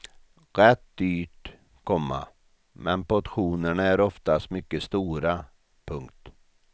Rätt dyrt, komma men portionerna är oftast mycket stora. punkt